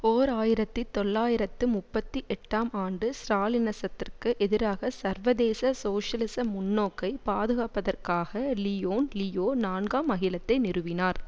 ஓர் ஆயிரத்தி தொள்ளாயிரத்து முப்பத்தி எட்டாம் ஆண்டு ஸ்ராலினிசத்திற்கு எதிராக சர்வதேச சோசியலிச முன்னோக்கை பாதுகாப்பதற்காக லியோன் லியோ நான்காம் அகிலத்தை நிறுவினார்